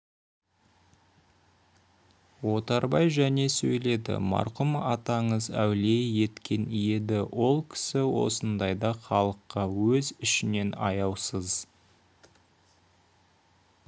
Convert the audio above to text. отарбай және сөйледі марқұм атаңыз әулие еткен еді ол кісі осындайда халыққа өз ішінен аяусыз